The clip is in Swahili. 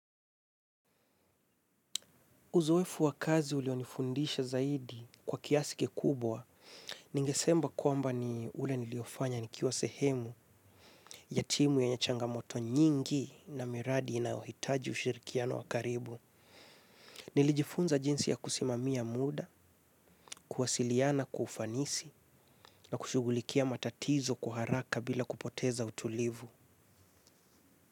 Uzoefu wa kazi ulionifundisha zaidi kwa kiasi kikubwa, ningesema kwamba ni ule niliofanya nikiwa sehemu, ya timu yenye changamoto nyingi na miradi inayohitaji ushirikiano wa karibu. Nilijifunza jinsi ya kusimamia muda, kuwasiliana, kwa ufanisi, na kushughulikia matatizo kwa haraka bila kupoteza utulivu.